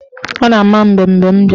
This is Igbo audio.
Ọ na-ama mbem mgbe m bịara.